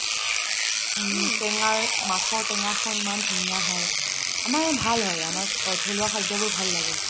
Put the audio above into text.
টেঙা মাছৰ টেঙাখন ইমান ধুনীয়া হয় আমাৰ ভাল হয় আমাৰ থলুৱা খাদ্যবোৰ ভাল লাগে